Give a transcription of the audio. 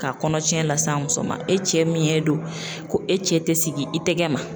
Ka kɔnɔ tiɲɛ lase a muso ma . E cɛ min ye don , ko e cɛ te sigi i tɛgɛ ma.